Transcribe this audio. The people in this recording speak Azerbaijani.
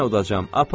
Yenə udacağam.